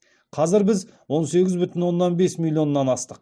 қазір біз он сегіз бүтін оннан бес миллионнан астық